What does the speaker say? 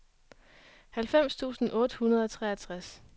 halvfems tusind otte hundrede og treogtres